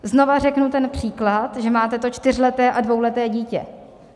Znova řeknu ten případ, že máte to čtyřleté a dvouleté dítě.